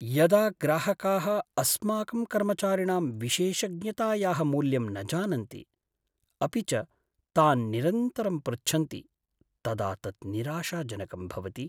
यदा ग्राहकाः अस्माकं कर्मचारिणां विशेषज्ञतायाः मूल्यं न जानन्ति अपि च तान् निरन्तरं पृच्छन्ति तदा तत् निराशाजनकं भवति।